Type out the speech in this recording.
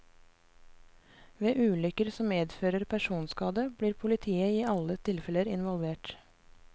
Ved ulykker som medfører personskade, blir politiet i alle tilfeller involvert.